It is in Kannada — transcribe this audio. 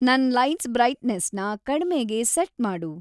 ನನ್‌‌ ಲೈಟ್ಸ್‌ ಬ್ರೈಟ್ನೆಸ್‌ನ ಕಡ್ಮೇಗೆ ಸೆಟ್‌ ಮಾಡು